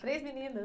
Três meninas.